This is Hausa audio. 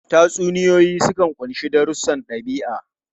Tatsuniyoyi sukan ƙunshi darussan ɗabi'a.